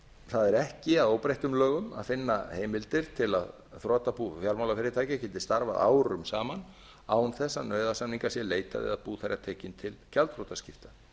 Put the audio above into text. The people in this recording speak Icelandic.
það er ekki að óbreyttum lögum að finna heimildir til að þrotabú fjármálafyrirtækja geti starfað árum saman án þess að nauðasamninga sé leitað eða bú þeirra tekin til gjaldþrotaskipta